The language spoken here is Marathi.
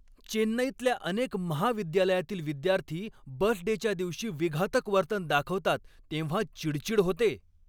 चेन्नईतल्या अनेक महाविद्यालयातील विद्यार्थी बस डेच्या दिवशी विघातक वर्तन दाखवतात तेव्हा चिडचिड होते.